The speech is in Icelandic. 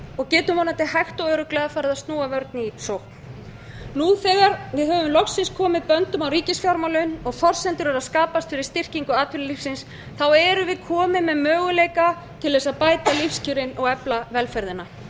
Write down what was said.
og getum vonandi hægt og örugglega farið að núna vörn í sókn þegar við höfum loksins komið böndum á ríkisfjármálin og forsendur eru að skapast fyrir styrkingu atvinnulífsins þá erum komin með möguleika til að bæta lífskjörin og efla velferðina